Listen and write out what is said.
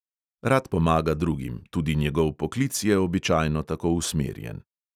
Rad pomaga drugim, tudi njegov poklic je običajno tako usmerjen.